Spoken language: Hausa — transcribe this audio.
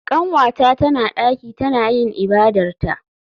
Kanwata tana daki tana yin ibadarta.